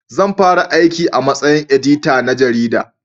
Zan fara aiki a matsayin edita na jarida